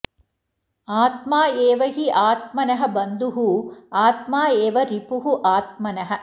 आत्मा एव हि आत्मनः बन्धुः आत्मा एव रिपुः आत्मनः